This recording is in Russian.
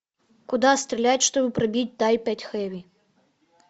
куда стрелять чтобы пробить тайп пять хеви